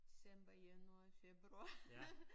December januar februar